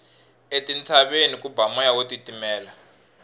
etintshaveni ku ba moya wo titimela